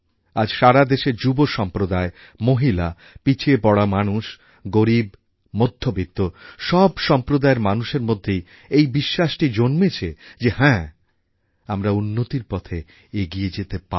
আজ সারা দেশের যুব সম্প্রদায় মহিলা পিছিয়ে পড়া মানুষ গরীব মধ্যবিত্ত সব সম্প্রদায়ের মানুষের মধ্যেই এই বিশ্বাসটা জন্মেছে যে হ্যাঁ আমরা উন্নতির পথে এগিয়ে যেতে পারি